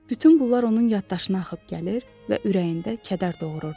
Bütün bunlar onun yaddaşına axıb gəlir və ürəyində kədər doğururdu.